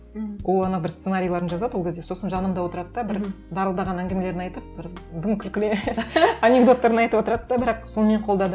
ол ана бір сценарийлерін жазады ол кезде сосын жанымда отырады да бір дарылдаған әңгімелерін айтып бір дым күлкілі анекдоттарын айтып отырады да бірақ сонымен қолдады